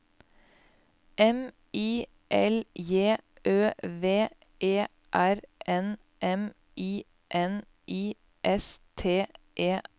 M I L J Ø V E R N M I N I S T E R